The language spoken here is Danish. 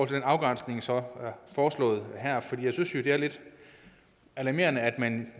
den afgrænsning som er foreslået her for jeg synes jo det er lidt alarmerende at man